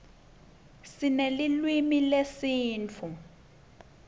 sinelulwimi lesisutfu